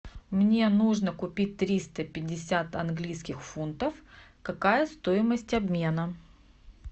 мне нужно купить триста пятьдесят английских фунтов какая стоимость обмена